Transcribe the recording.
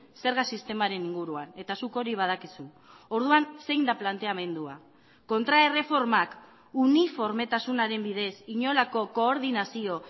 zerga sistemaren inguruan eta zuk hori badakizu orduan zein da planteamendua kontraerreformak uniformetasunaren bidez inolako koordinazio